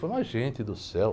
Falo, mas gente do céu...